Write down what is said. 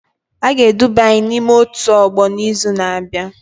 A ga-eduba anyị n'ime otu ọgbọ n'izu na-abịa